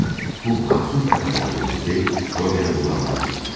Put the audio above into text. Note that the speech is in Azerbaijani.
Lakin bu məsum qadını öldürməsi, Rodionu böhrana sürükləyir.